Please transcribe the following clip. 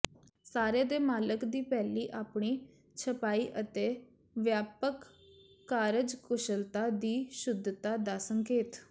ਸਾਰੇ ਦੇ ਮਾਲਕ ਦੀ ਪਹਿਲੀ ਆਪਣੇ ਛਪਾਈ ਅਤੇ ਵਿਆਪਕ ਕਾਰਜਕੁਸ਼ਲਤਾ ਦੀ ਸ਼ੁੱਧਤਾ ਦਾ ਸੰਕੇਤ